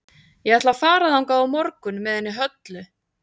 Ég ætla að fara þangað á morgun með henni Höllu.